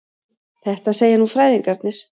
Þetta segja nú fræðingarnir.